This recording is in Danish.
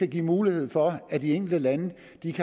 give mulighed for at de enkelte lande